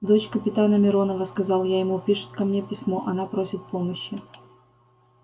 дочь капитана миронова сказал я ему пишет ко мне письмо она просит помощи